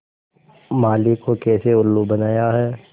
माली को कैसे उल्लू बनाया है